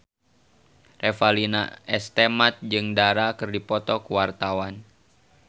Revalina S. Temat jeung Dara keur dipoto ku wartawan